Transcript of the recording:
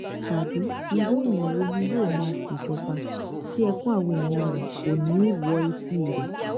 tàbí irú èèyàn wo ni yóò máa ṣèjọba tí ẹkún àwọn èèyàn rẹ kò ní í wo etí rẹ